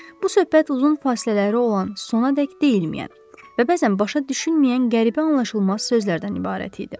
Bu söhbət uzun fasilələri olan, sonadək deyilməyən və bəzən başa düşülməyən qəribə anlaşılmaz sözlərdən ibarət idi.